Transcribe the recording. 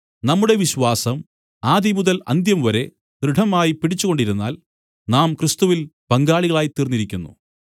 നമ്മുടെ വിശ്വാസം ആദിമുതൽ അന്ത്യം വരെ ദൃഢമായിപ്പിടിച്ചുകൊണ്ടിരുന്നാൽ നാം ക്രിസ്തുവിൽ പങ്കാളികളായിത്തീർന്നിരിക്കുന്നു